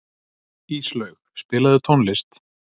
Íslaug, spilaðu tónlist.